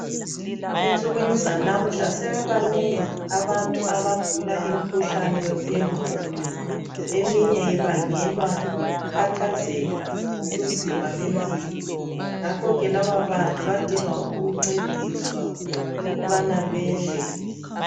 Ensukwini zanamhla sebebanengi abantu abagula imkhuhlane yegqondo eminye ibangelwa yikukhathazeka ngobunzima bempilo ngakhoke lababantu badinga ukuncediswa ukubana bedle.